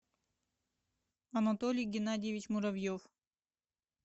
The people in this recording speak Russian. анатолий геннадьевич муравьев